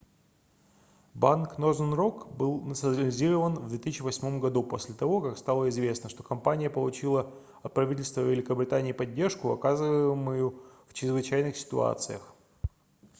банк northern rock был национализирован в 2008 году после того как стало известно что компания получила от правительства великобритании поддержку оказываемую в чрезвычайных ситуациях